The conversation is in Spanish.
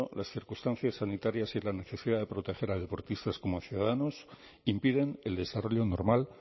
las circunstancias sanitarias y la necesidad de proteger a deportistas como a ciudadanos impiden el desarrollo normal